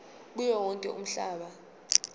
kuwo wonke umhlaba